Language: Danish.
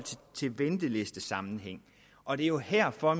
til en ventelistesammenhæng og det er jo herfor